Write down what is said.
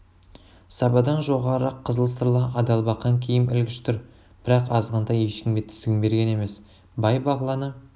сабадан жоғарырақ қызыл сырлы адалбақан киім ілгіш тұр бірақ азғантай ешкімге тізгін берген емес бай-бағланы